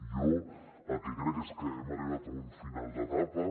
jo el que crec és que hem arribat a un final d’etapa